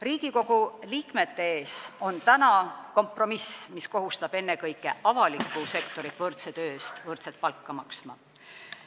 Riigikogu liikmete ees on nüüd kompromiss, mis kohustab ennekõike avalikku sektorit võrdse töö eest võrdset palka maksma.